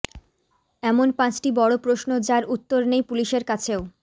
এমন পাঁচটি বড় প্রশ্ন যার উত্তর নেই পুলিশের কাছেও